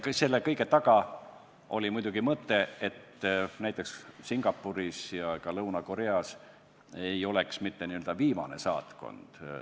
Selle kõige taga oli muidugi mõte, et näiteks Singapuri ja ka Lõuna-Korea saatkond ei jääks sugugi mitte viimaseks.